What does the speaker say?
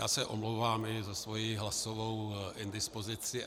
Já se omlouvám i za svoji hlasovou indispozici.